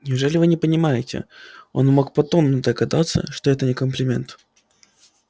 неужели вы не понимаете он мог по тону догадаться что это не комплименты